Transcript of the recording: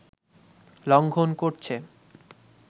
লঙ্ঘন করছে